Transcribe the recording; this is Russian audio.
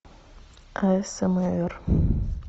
асмр